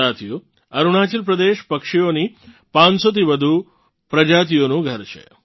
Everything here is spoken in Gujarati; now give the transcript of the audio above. સાથીઓ અરુણાચલ પ્રદેશ પક્ષીઓની 500થી પણ વધુ પ્રજાતિઓનું ઘર છે